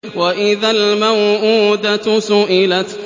وَإِذَا الْمَوْءُودَةُ سُئِلَتْ